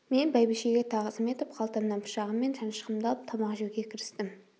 мен бәйбішеге тағзым етіп қалтамнан пышағым мен шанышқымды алып тамақ жеуге кірістім